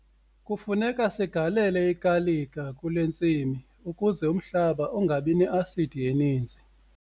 Kufuneka sigalele igalika kule ntsimi ukuze umhlaba ungabi ne-asidi eninzi.